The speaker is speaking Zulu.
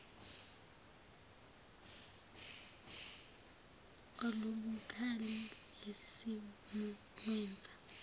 olubukhali leskimu lwenza